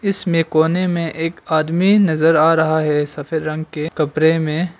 इसमें कोने में एक आदमी नजर आ रहा है सफेद रंग के कपड़े में।